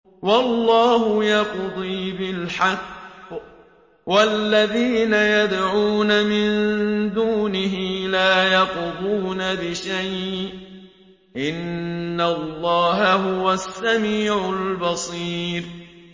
وَاللَّهُ يَقْضِي بِالْحَقِّ ۖ وَالَّذِينَ يَدْعُونَ مِن دُونِهِ لَا يَقْضُونَ بِشَيْءٍ ۗ إِنَّ اللَّهَ هُوَ السَّمِيعُ الْبَصِيرُ